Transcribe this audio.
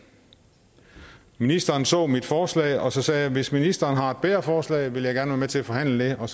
ministeren så mit forslag og så sagde jeg hvis ministeren har et bedre forslag vil jeg gerne være med til at forhandle det og